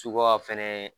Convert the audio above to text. Suga fɛnɛ